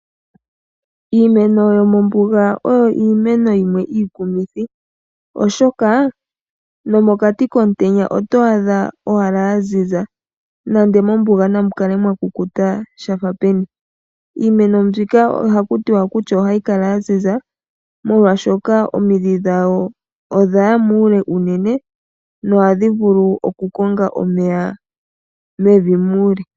Iimeno yomombuga oyo iimeno yimwe iikumithi, oshoka nomokati komutenya oto adha owala ya ziza, nenge mombuga namu kale mwa kukuta sha fa peni. Iimeno mbika ohaku tiwa kutya ohayi kala ya ziza, molwashoka omidhi dhawo odha ya muule unene nohadhi vulu okukonga omeya mevi muule.